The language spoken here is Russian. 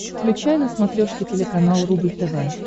включай на смотрешке телеканал рубль тв